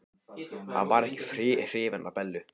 Hann var ekki hrifinn af Bellu.